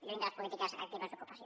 lluny de les polítiques actives d’ocupació